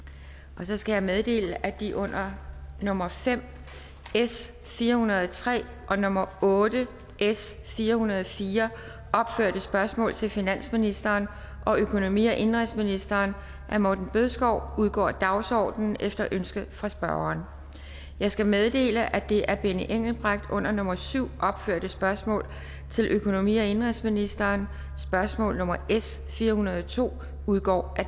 så skal jeg meddele at de under nummer fem s fire hundrede og tre og nummer otte s fire hundrede og fire opførte spørgsmål til finansministeren og økonomi og indenrigsministeren af morten bødskov udgår af dagsordenen efter ønske fra spørgeren jeg skal meddele at det af benny engelbrecht under nummer syv opførte spørgsmål til økonomi og indenrigsministeren spørgsmål nummer s fire hundrede og to udgår af